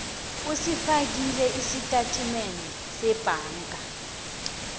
usifakile isitatimende sebhanga